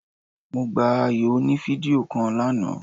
Mo gba ayò oní fídíò kan lánàá